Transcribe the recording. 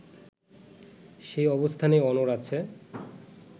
সেই অবস্থানেই অনড় আছে